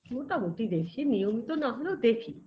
মোটামুটি দেখি নিয়মিত না হলেও দেখি